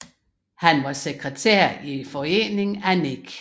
Han var sekretær i Foreningen af 9